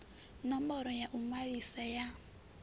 ṋomboro ya u ṅwalisa ya